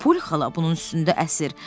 Poli xala bunun üstündə əsir.